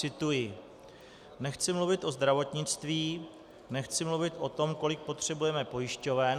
Cituji: "Nechci mluvit o zdravotnictví, nechci mluvit o tom, kolik potřebujeme pojišťoven.